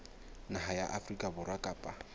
naha ya afrika borwa kapa